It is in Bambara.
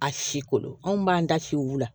A si kolon anw b'an da si u la